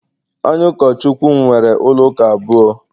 Onye Ụkọchukwu m nwere ụlọ ụka abụọ